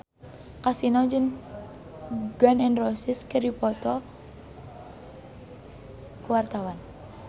Kasino jeung Gun N Roses keur dipoto ku wartawan